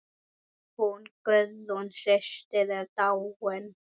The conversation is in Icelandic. Hún Guðrún systir er dáin.